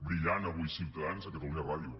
brillant avui ciutadans a catalunya ràdio